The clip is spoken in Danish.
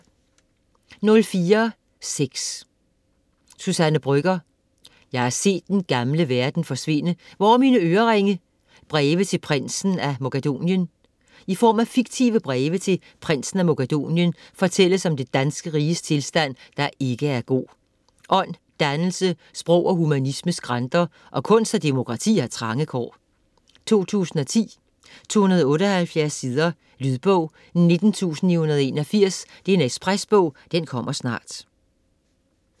04.6 Brøgger, Suzanne: Jeg har set den gamle verden forsvinde - hvor er mine øreringe?: breve til Prinsen af Mogadonien I form af fiktive breve til Prinsen af Mogadonien fortælles om det danske riges tilstand, der ikke er god. Ånd, dannelse, sprog og humanisme skranter, og kunst og demokrati har trange kår. 2010, 278 sider. Lydbog 19981 Ekspresbog - kommer snart